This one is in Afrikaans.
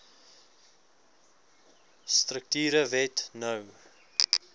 strukture wet no